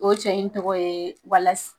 O cɛ in tɔgɔ ye Walasi